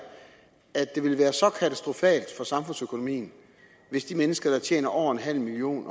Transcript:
at det ville være så katastrofalt for samfundsøkonomien hvis de mennesker der tjener over nul million